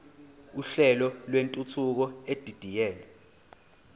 uhlelo lwentuthuko edidiyelwe